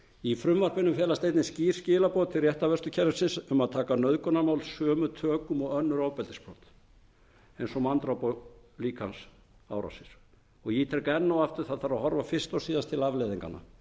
í frumvarpinu felast einnig skýr skilaboð til réttarvörslukerfisins um að taka nauðgunarmál sömu tökum og önnur ofbeldisbrot eins og manndráp og líkamsárásir ég ítreka enn og aftur að það þarf að horfa fyrst og síðast til afleiðinganna